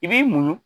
I b'i muɲu